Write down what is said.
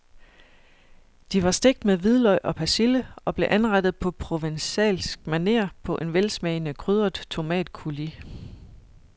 De var stegt med hvidløg og persille og blev anrettet på provencalsk maner på en velsmagende krydret tomatcoulis.